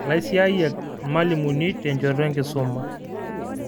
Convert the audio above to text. Laisiayak lmalimuni tenchoto enkisuma